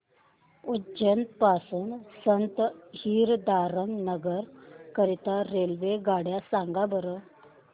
उज्जैन पासून संत हिरदाराम नगर करीता रेल्वेगाड्या सांगा बरं